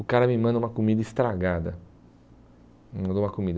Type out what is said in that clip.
O cara me manda uma comida estragada, mandou uma comida.